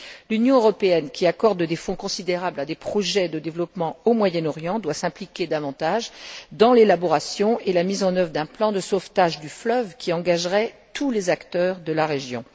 L'Union européenne, qui accorde des fonds considérables à des projets de développement au Moyen Orient doit s'impliquer davantage dans l'élaboration et la mise en œuvre d'un plan de sauvetage du fleuve qui engagerait tous les acteurs de la région.